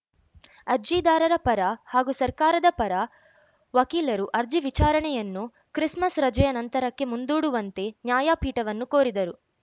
ಅರ್ಜಿದಾರರ ಪರ ಹಾಗೂ ಸರ್ಕಾರದ ಪರ ವಕೀಲರು ಅರ್ಜಿ ವಿಚಾರಣೆಯನ್ನು ಕ್ರಿಸ್‌ಮಸ್‌ ರಜೆಯ ನಂತರಕ್ಕೆ ಮುಂದೂಡುವಂತೆ ನ್ಯಾಯಪೀಠವನ್ನು ಕೋರಿದರು